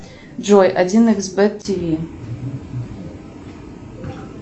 джой один икс бет тв